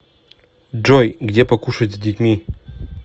джой где покушать с детьми